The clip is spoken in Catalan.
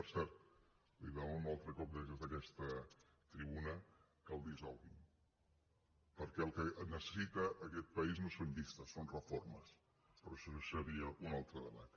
per cert li demano un altre cop des d’aquesta tribuna que el dissolgui perquè el que necessita aquest país no són llistes són reformes però això seria un altre debat